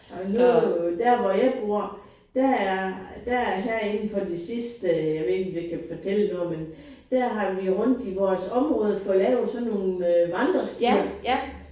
Og nu der hvor jeg bor der er der her inde for de sidste jeg ved ikke om det kan fortælle noget men der har vi rundt i vores område fået lavet sådan nogle vandrestier